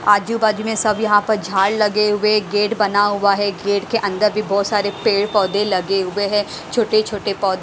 आजूबाजूमें सब यहां पर झाड़ लगे हुए हैं। गेट बना हुआ है। गेट के अंदर भी बहुत सारे पेड़ पौधे लगे हुए हैं। छोटे छोटे पौ--